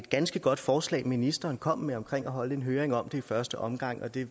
ganske godt forslag ministeren kom med om at holde en høring om det i første omgang det